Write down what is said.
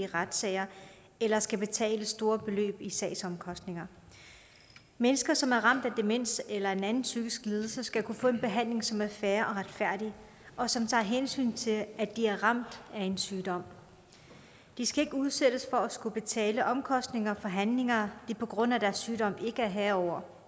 retssager eller skal betale store beløb i sagsomkostninger mennesker som er ramt af demens eller en psykisk lidelse skal kunne få en behandling som er fair og retfærdig og som tager hensyn til at de er ramt af en sygdom de skal ikke udsættes for at skulle betale omkostninger for handlinger de på grund af deres sygdom ikke er herre over